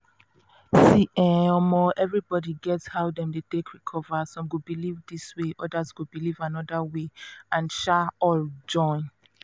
see um um everybody get how dem take dey recover some go believe this way others go believe another way and um all join.